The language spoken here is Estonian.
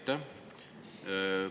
Aitäh!